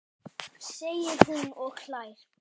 segir hún og hlær við.